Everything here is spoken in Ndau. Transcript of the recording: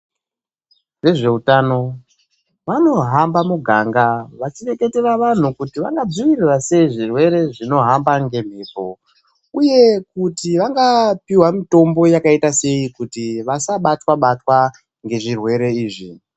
Vezveutano vanohamba muganga veichireketera vanhu kuti vangadziviririra sei zvirwere zvinohamba ngemhepo uye kuti vangapiwa mitombo yakaita sei kuti vasabatwa batwa ngezvirwere izvi.